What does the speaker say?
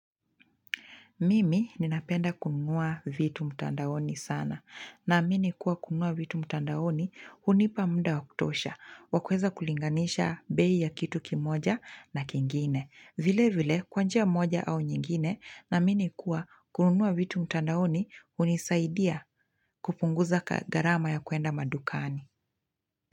Mimi ninapenda kununua vitu mtandaoni sana na mimi nimekuwa kunua vitu mtandaoni hunipa mda wakutosha wakuweza kulinganisha bei ya kitu kimoja na kingine. Vile vile kwa njia moja au nyingine naamini kuwa kunua vitu mtandaoni hunisaidia kupunguza gharama ya kuenda madukani.